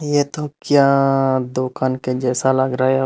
यह तो क्या दुकान के जैसा लग रहा है।